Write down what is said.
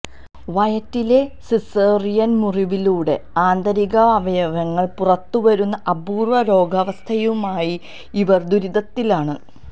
വയറ്റിലെ സിസേറിയന് മുറിവിലൂടെ ആന്തരികാവയവങ്ങള് പുറത്തു വരുന്ന അപൂര്വ്വ രോഗാവസ്ഥയുമായി ഇവർ ദുരിതത്തിലാണ്